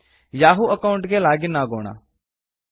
Yahoo account ಗೆ log in ಅಗೋಣ